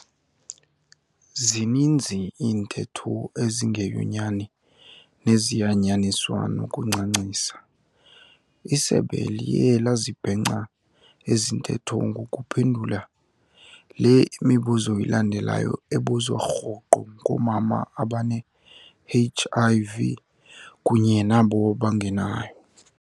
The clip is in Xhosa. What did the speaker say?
Zininzi iintetho ezingeyonyani nezayanyaniswa nokuncancisa, isebe liye lazibhenca ezintetho ngokuphendula le imibuzo ilandelayo ebuzwa rhoqo ngoomama abane-HIV kunye nabo bangenayo.